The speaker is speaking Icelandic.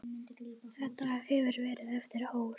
Þetta hefur verið erfitt ár.